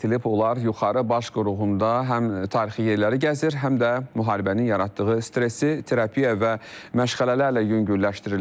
Onlar yuxarı baş qoruğunda həm tarixi yerləri gəzir, həm də müharibənin yaratdığı stressi terapiya və məşğələlərlə yüngülləşdirirlər.